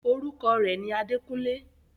orúkọ rẹ̀ ni “ Adékúnlé”.